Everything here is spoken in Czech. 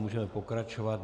Můžeme pokračovat.